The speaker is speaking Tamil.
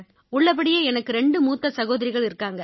உள்ளபடியே எனக்கு ரெண்டு மூத்த சகோதரிகள் உண்டு